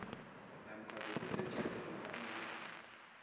namkha sokusetjenzwa kufanele